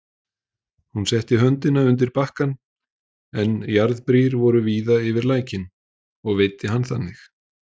Hún setti höndina undir bakkann, en jarðbrýr voru víða yfir lækinn, og veiddi hann þannig.